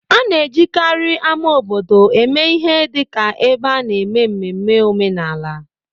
A na-ejikarị ama obodo eme ihe dị ka ebe a na-eme mmemme omenala